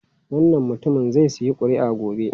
Wannan mutumin zai sayi kuri'a gobe.